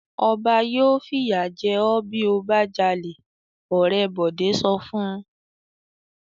"Ọba yóò fìyà jẹ ọ́ bí ó bá jalè!" Ọ̀rẹ́ Bọ̀dé sọ fún un.